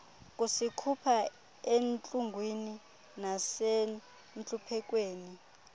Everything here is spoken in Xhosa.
kusikhupha entlungwini nasentluphekweni